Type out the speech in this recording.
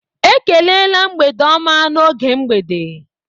Ekelela mgbede ọma n'oge mgbede.